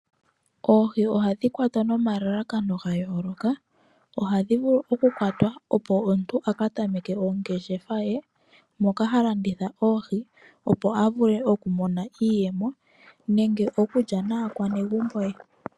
Oohi ohandhi kwatwa noma lalakano ga yooloka ohandhi vulu oku kwatwa opo omuntu aka tameke ongeshefa ye moka ha landitha oohi opo a vule okumona iiyeno, nenge okulya naakwanegumbo ye.